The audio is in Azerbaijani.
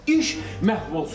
İş məhv olsun.